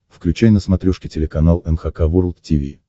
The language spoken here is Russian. включай на смотрешке телеканал эн эйч кей волд ти ви